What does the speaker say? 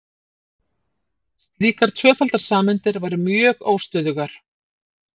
Slíkar tvöfaldar sameindir væru mjög óstöðugar.